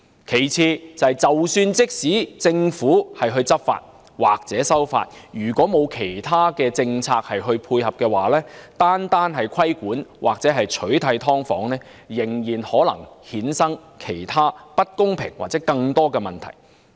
第二，政府即使執法或修例，如果沒有其他政策配合，單靠規管或取締"劏房"仍然可能衍生其他不公平的情況或更多問題。